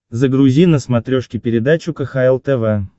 загрузи на смотрешке передачу кхл тв